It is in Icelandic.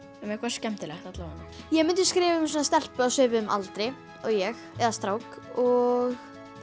um eitthvað skemmtilegt allavega ég myndi skrifa um stelpu á svipuðum aldri og ég eða strák og